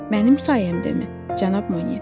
Mənim sayəmdəmi, cənab Monyer?